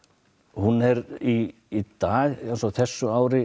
hún er í dag á þessu ári